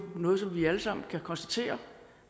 noget vi alle sammen kan konstatere